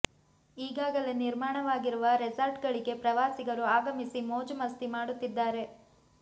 ಈಗಾಗಲೇ ನಿರ್ಮಾಣವಾಗಿರುವ ರೆಸಾರ್ಟ್ ಗಳಿಗೆ ಪ್ರವಾಸಿಗರು ಆಗಮಿಸಿ ಮೋಜು ಮಸ್ತಿ ಮಾಡುತ್ತಿದ್ದಾರೆ